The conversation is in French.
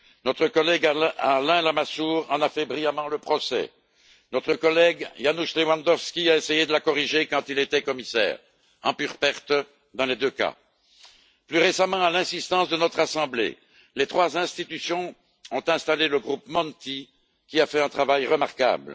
Notre collègue, Alain Lamassoure, en a fait brillamment le procès. Notre collègue, Janusz Lewandowski, a essayé de la corriger quand il était commissaire, en pure perte dans les deux cas. Plus récemment, sur l'insistance de notre assemblée, les trois institutions ont installé le groupe Monti, qui a fait un travail remarquable.